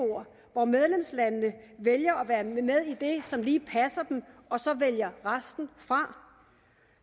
hvor medlemslandene vælger at være med med i det som lige passer dem og så vælger resten fra